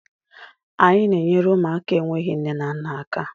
Anyị na-enyere ụmụaka enweghị nne na nna aka.